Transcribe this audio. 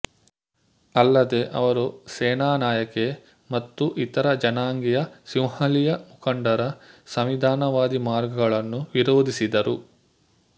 ಅಲ್ಲದೆ ಅವರು ಸೇನನಾಯಕೆ ಮತ್ತು ಇತರ ಜನಾಂಗೀಯ ಸಿಂಹಳೀಯ ಮುಖಂಡರ ಸಂವಿಧಾನವಾದಿ ಮಾರ್ಗಗಳನ್ನು ವಿರೋಧಿಸಿದರು